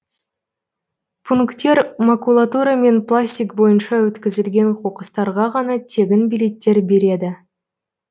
пунктер макулатура мен пластик бойынша өткізілген қоқыстарға ғана тегін билеттер береді